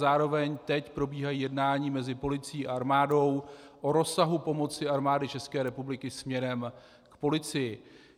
Zároveň teď probíhají jednání mezi policií a armádou o rozsahu pomoci Armády České republiky směrem k policii.